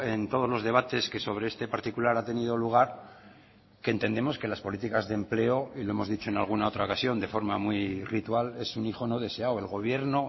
en todos los debates que sobre este particular ha tenido lugar que entendemos que las políticas de empleo y lo hemos dicho en alguna otra ocasión de forma muy ritual es un hijo no deseado el gobierno